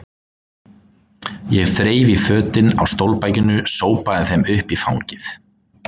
Ég þreif í fötin á stólbakinu, sópaði þeim upp í fangið.